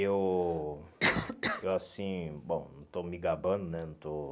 Eu, eu assim, bom, não estou me gabando, né? Não estou